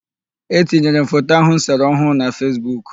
Etinyere m foto ahụ m sere ọhụụ na Fesbuk.